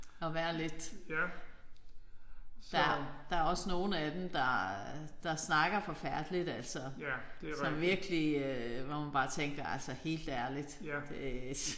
At være lidt. Der der er også nogle af dem der der snakker forfærdeligt altså. Som virkelig hvor man bare tænker altså helt ærligt det